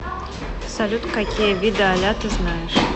салют какие виды аля ты знаешь